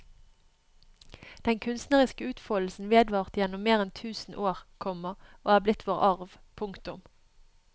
Den kunstneriske utfoldelsen vedvarte gjennom mer enn tusen år, komma og er blitt vår arv. punktum